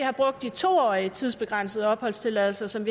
har brugt de to årige tidsbegrænsede opholdstilladelser som